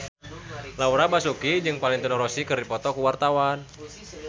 Laura Basuki jeung Valentino Rossi keur dipoto ku wartawan